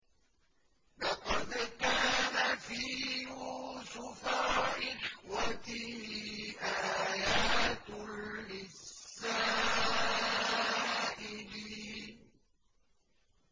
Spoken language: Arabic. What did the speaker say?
۞ لَّقَدْ كَانَ فِي يُوسُفَ وَإِخْوَتِهِ آيَاتٌ لِّلسَّائِلِينَ